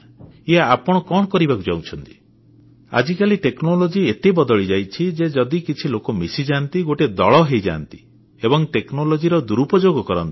ଇଏ ଆପଣ କଣ କରିବାକୁ ଯାଉଛନ୍ତି ଆଜିକାଲି ପ୍ରଯୁକ୍ତିବିଦ୍ୟା ଏତେ ବଦଳିଯାଇଛି ଯେ ଯଦି କିଛି ଲୋକ ମିଶିଯାଆନ୍ତି ଗୋଟିଏ ଦଳ ହୋଇଯାଆନ୍ତି ଏବଂ ପ୍ରଯୁକ୍ତିବିଦ୍ୟାର ଦୁରୂପଯୋଗ କରନ୍ତି